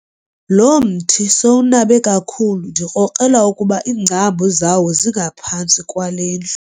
Lo mthi sowunabe kakhulu ndikrokrela ukuba iingcambu zawo zingaphantsi kwale ndlu.